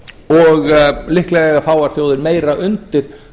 og líklega eiga fáar þjóðir meira undir